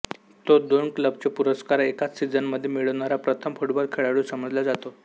तो दोन क्लबचे पुरस्कार एकाच सिझनमध्ये मिळवणारा प्रथम फुटबॉल खेळाडू समजल्या जातो